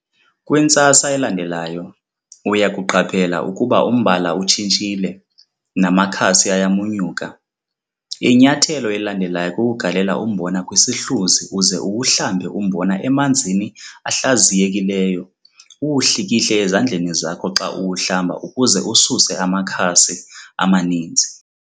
Kwintsasa elandelayo, uya kuqaphela ukuba umbala utshintshile, namakhasi ayamunyuka. Inyathelo elilandelayo kukugalela umbona kwisihluzi uze uwuhlambe umbona emanzini ahlaziyekileyo uwuhlikihle ezandleni zakho xa uwuhlamba ukuze ususe amakhasi amaninzi.